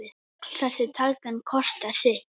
Öll þessi tækni kostar sitt.